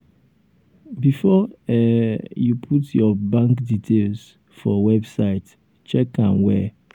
um before um you put your bank details um for website check am well.